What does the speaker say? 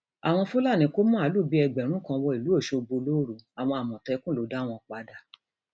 àwọn fúlàní kò máàlù bíi ẹgbẹrún kan wọ ìlú ọṣọgbó lóru àwọn àmọtẹkùn ló dá wọn padà